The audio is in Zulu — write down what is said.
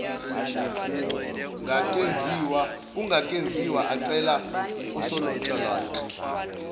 kungakenziwa acela usonhlalonhle